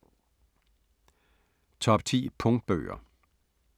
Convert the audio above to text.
Top 10 punktbøger